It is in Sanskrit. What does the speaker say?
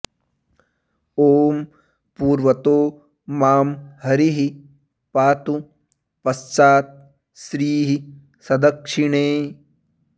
ॐ पूर्वतो मां हरिः पातु पश्चात् श्रीः सदक्षिणे